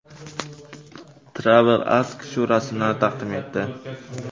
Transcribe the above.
Travel Ask shu rasmlarni taqdim etdi.